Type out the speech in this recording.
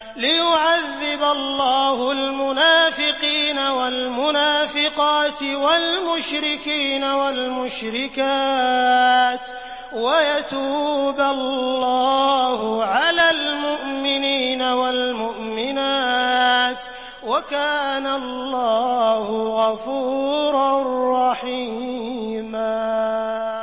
لِّيُعَذِّبَ اللَّهُ الْمُنَافِقِينَ وَالْمُنَافِقَاتِ وَالْمُشْرِكِينَ وَالْمُشْرِكَاتِ وَيَتُوبَ اللَّهُ عَلَى الْمُؤْمِنِينَ وَالْمُؤْمِنَاتِ ۗ وَكَانَ اللَّهُ غَفُورًا رَّحِيمًا